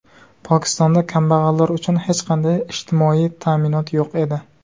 Pokistonda kambag‘allar uchun hech qanday ijtimoiy ta’minot yo‘q edi.